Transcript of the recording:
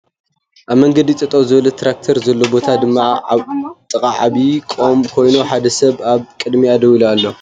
ኣብ መገዲ ጠጠው ዝበለት ትራክተር ዘሎ ቦታ ድማ ጥቓ ዓብይ ቖም ኮይኑ ሓደ ሰብ ኣብ ቕድሚታ ደው ኢሉ ኣሎ ።